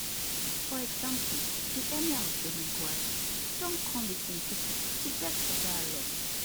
for example di emir of birnin gwari don come wit im pipo to beg for dialogue